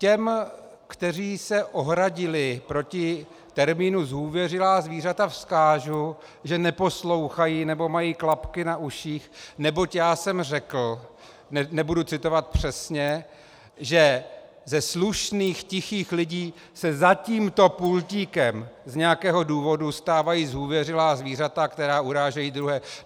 Těm, kteří se ohradili proti termínu zhůvěřilá zvířata, vzkážu, že neposlouchají, nebo mají klapky na uších, neboť já jsem řekl, nebudu citovat přesně, že ze slušných tichých lidí se za tímto pultíkem z nějakého důvodu stávají zhůvěřilá zvířata, která urážejí druhé.